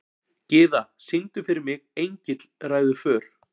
Gyða, syngdu fyrir mig „Engill ræður för“.